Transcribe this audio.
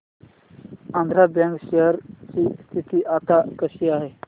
Andhra bank share ची स्थिती आता कशी आहे